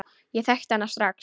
Ég þekkti hana strax.